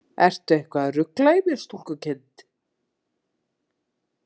Ertu eitthvað að rugla í mér, stúlkukind?